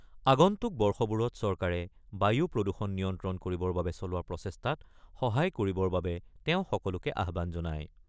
আগন্তুক বৰ্ষবোৰত চৰকাৰে বায়ু প্ৰদূষণ নিয়ন্ত্ৰণ কৰিবৰ বাবে চলোৱা প্ৰচেষ্টাত সহায় কৰিবৰ বাবে তেওঁ সকলোকে আহ্বান জনায়।